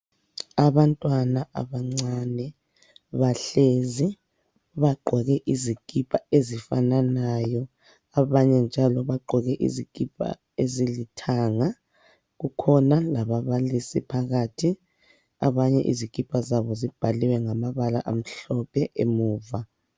Abantwana abancane bahlezi bagqoke izikipa ezifananayo, abanye njalo bagqoke izikipa ezilithanga. Kukhona lababalisi phakathi. Abanye izikipa zibhaliwe ngamabala amhlophe emuva.